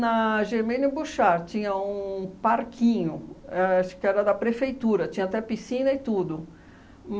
Germênio Bouchard tinha um parquinho, acho que era da prefeitura, tinha até piscina e tudo.